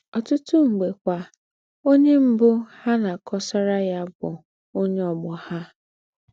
Ọ́tùtù m̀gbè kwà, ónyè m̀bù ha ná-àkọ̀sàrà ya bụ̀ ónyè ọ̀gbọ̀ ha.